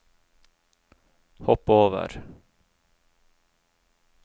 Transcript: hopp over